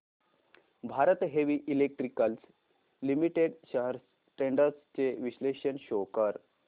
Bharat heavy electricals limited shares trends चे विश्लेषण show कर